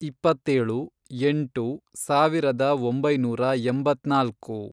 ಇಪ್ಪತ್ತೇಳು, ಎಂಟು, ಸಾವಿರದ ಒಂಬೈನೂರ ಎಂಬತ್ನಾಲ್ಕು